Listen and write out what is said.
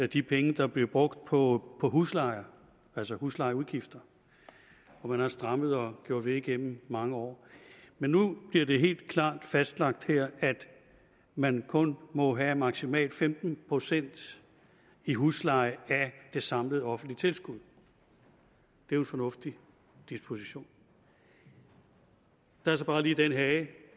de penge der blev brugt på huslejer altså huslejeudgifter og man har strammet og gjort ved igennem mange år men nu bliver det helt klart fastlagt her at man kun må have maksimalt femten procent i husleje af det samlede offentlige tilskud det er en fornuftig disposition der er så bare lige den hage